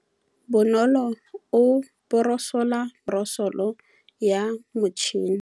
Bonolô o borosola meno ka borosolo ya motšhine.